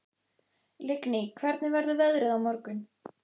Lingný, hvernig verður veðrið á morgun?